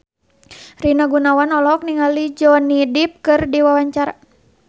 Rina Gunawan olohok ningali Johnny Depp keur diwawancara